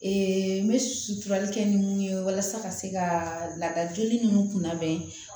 n bɛ suturali kɛ ni mun ye walasa ka se ka lada joli ninnu kun labɛn